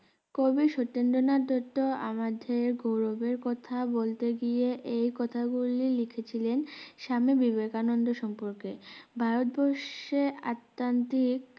কবি সতেন্দ্রনাত দত্ত আমাদের গৌরবের কথা বলতে গিয়ে এই কথা গুলি লিখেছিলেন স্বামী বিবেকানন্দ সম্পর্কে ভারতবর্ষে আত্মানতিক